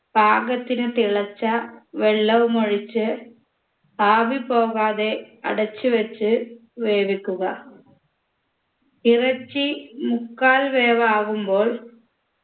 പാകത്തിന് തിളച്ച വെള്ളവുമൊഴിച്ച് ആവി പോകാതെ അടച്ചു വെച്ച് വേവിക്കുക ഇറച്ചി മുക്കാൽ വേവാകുമ്പോൾ